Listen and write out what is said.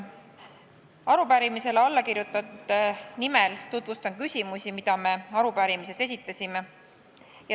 Arupärimisele allakirjutanute nimel tutvustan küsimusi, mis me arupärimises esitasime.